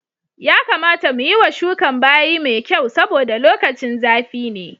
Ya kamata mu yiwa shukan bayi mai kyau saboda lokacin zafi ne.